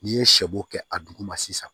N'i ye sɛbo kɛ a duguma sisan